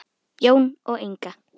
Jón og Inga.